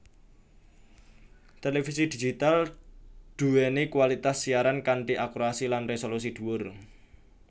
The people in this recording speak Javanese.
Télévisi Digital duwéni kualitas siaran kanthi akurasi lan resolusi duwur